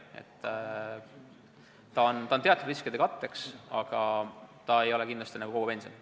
See on teatud riskide katteks, aga kindlasti mitte nii tähtis nagu kogu pension.